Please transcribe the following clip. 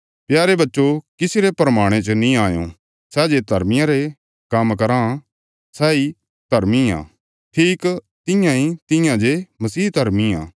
प्यारे बच्चो किसी रे भरमाणे च नीं आयों सै जे धर्मा रे काम्म कराँ सैई धर्मी आ ठीक तियां इ तियां जे मसीह धर्मी आ